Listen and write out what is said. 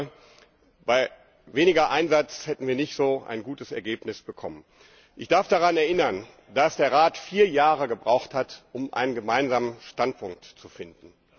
Ich glaube, bei weniger Einsatz hätten wir nicht so ein gutes Ergebnis bekommen. Ich darf daran erinnern, dass der Rat vier Jahre gebraucht hat, um einen gemeinsamen Standpunkt zu finden.